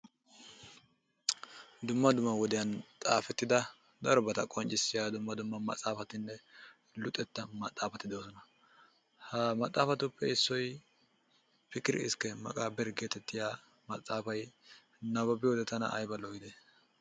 Dumma dumma wodiyan xaafetida darobata qonccissiya dumma dumma maxaafatinne luxetta maxaafati de'oosona ha maxaafatuppe issoy piqir iskke meqaabbire getettiya maxaafay nababbiyode tana ayba lo"ii!